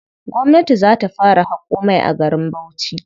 Gwamnati za ta fara haƙo mai a garin Bauchi.